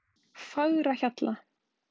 Fagrahjalla